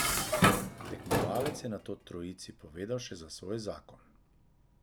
Tekmovalec je nato trojici povedal še za svoj zakon.